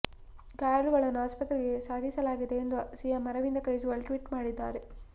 ಗಾಯಾಳುಗಳನ್ನು ಆಸ್ಪತ್ರೆಗೆ ಸಾಗಿಸಲಾಗಿದೆ ಎಂದು ಸಿಎಂ ಅರವಿಂದ್ ಕೇಜ್ರಿವಾಲ್ ಟ್ವೀಟ್ ಮಾಡಿದ್ದಾರೆ